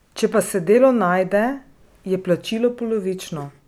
Če pa se delo najde, je plačilo polovično.